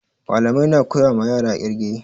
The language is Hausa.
Malamai na koya ma yara ƙirge